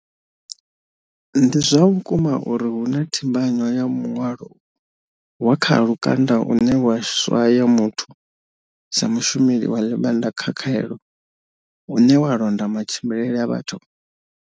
Ndi zwa vhukuma uri hu na thimba nywa ya muṅwalo wa kha lukanda une wa swaya muthu sa mushumeli wa ḽivhanda kha khaelo, une wa londa matshimbilele a vhathu?